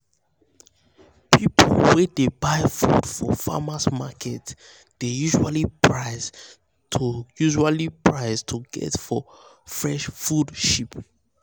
people wey dey buy food for farmers' market dey usually price to usually price to get for fresh food cheap.